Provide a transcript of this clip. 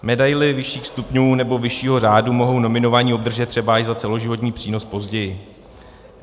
Medaili vyšších stupňů nebo vyššího řádu mohou nominovaní obdržet třeba až za celoživotní přínos později.